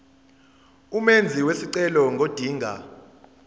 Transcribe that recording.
umenzi wesicelo ngodinga